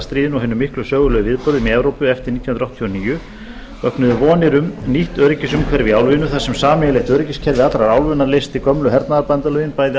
stríðinu og hinum miklu sögulegu viðburðum í evrópu eftir nítján hundruð áttatíu og níu hafi vaknað vonir um nýtt öryggisumhverfi í álfunni þar sem sameiginlegt öryggiskerfi allrar álfunnar leysti gömlu hernaðarbandalögin bæði